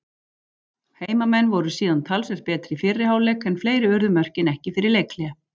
Heimamenn voru síðan talsvert betri í fyrri hálfleik en fleiri urðu mörkin ekki fyrir leikhlé.